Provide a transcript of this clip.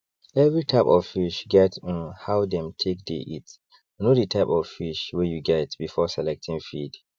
every type of fish get um how dem take dey eatknow the type of fish wey you get before selecting feed